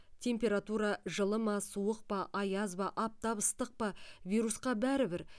температура жылы ма суық па аяз ба аптап ыстық па вирусқа бәрібір